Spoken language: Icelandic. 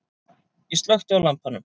Ég slökkti á lampanum.